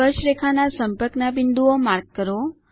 સ્પર્શરેખાના સંપર્કના બિંદુઓ માર્ક કરો